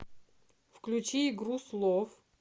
включи игру слов